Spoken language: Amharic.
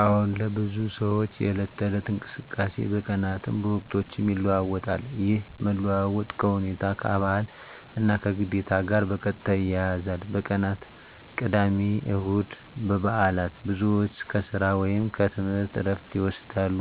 አዎን፣ ለብዙ ሰዎች የዕለት ተዕለት እንቅስቃሴ በቀናትም በወቅቶችም ይለዋዋጣል። ይህ መለዋወጥ ከሁኔታ፣ ከባህል እና ከግዴታ ጋር በቀጥታ ይያያዛል። በቀናት (ቅዳሜ፣ እሁድ፣ በዓላት): ብዙ ሰዎች ከሥራ ወይም ከትምህርት ዕረፍት ይወስዳሉ፣